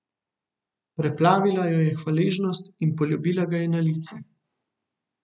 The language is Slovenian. Preplavila jo je hvaležnost, in poljubila ga je na lice.